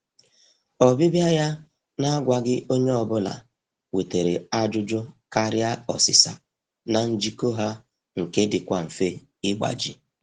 Ọbịbịa ya na-agwaghị onye ọbụla wetara ajụjụ karịa ọsịsa na njikọ ha nke dịkwa mfe ịgbaji.